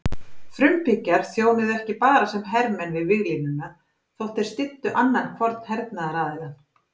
Frumbyggjar þjónuðu ekki bara sem hermenn við víglínuna þótt þeir styddu annan hvorn hernaðaraðilann.